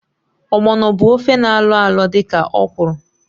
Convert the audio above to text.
Ogbono bu ofe na alọalọ dị ka okwụrụ.